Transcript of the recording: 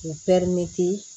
U